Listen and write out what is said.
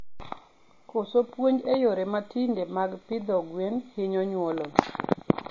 Koso puonj e yore mtinde mag pidho gwen hinyo nyuolo